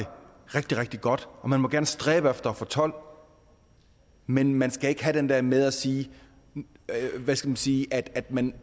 rigtig rigtig godt og man må gerne stræbe efter at få tolv men man skal ikke have det der med at sige at sige at man